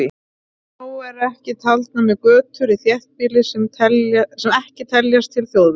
Þá eru ekki taldar með götur í þéttbýli sem ekki teljast til þjóðvega.